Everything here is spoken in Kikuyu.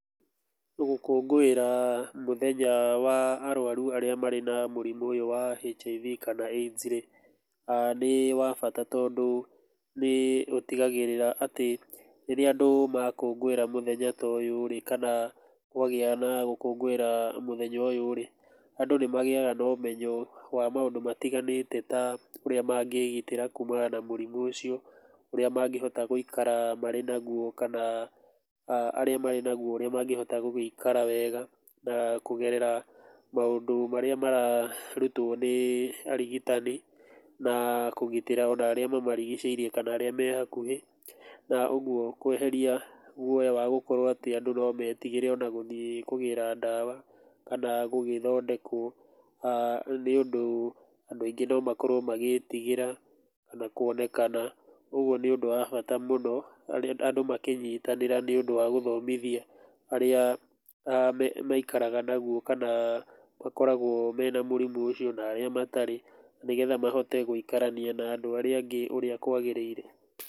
Gũkũngũĩra mũthenya wa arũaru arĩa marĩ na mũrimũ ũyũ wa HIV kana AIDS rĩ nĩ wa bata tondũ nĩũtigagĩrĩra atĩ rĩrĩa andũ makũngũĩra mũthenya ta ũyũ rĩ kana kwagĩa na gũkũngũĩra mũthenya ũyũ rĩ, andũ nĩmagĩyaga na ũmenyo wa maũndũ matiganĩte ta ũrĩa mangĩgitĩra kũmana na mũrimũ ũcio, ũrĩa mangĩhota gũikara marĩ naguo kana arĩa marĩ naguo ũrĩa mangĩhota gũgĩikara wega na kũgerera maũndũ marĩa mararutwo nĩ arutani, na kũgitĩra maũndũ marĩa mamarigicĩirie kana arĩa me hakũhĩ na ũguo kweheria guoya wa gũkorwo atĩ andũ no metigĩre gũthiĩ kũgĩra ndawa kana gũgĩthondekwo nĩũndũ andũ aingĩ no makorwo magĩtigĩra ona kuonekana. Ũguo nĩ ũndũ wa bata mũno andũ makĩnyitanĩra nĩũndũ wa gũthomithia arĩa maikaraga naguo, kana arĩa makoragwo mena mũrimũ ũcio, na arĩa matarĩ nĩgetha mahote gũikarania na andũ arĩa angĩ ũrĩa kwagĩrĩire.